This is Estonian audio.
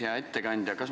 Hea ettekandja!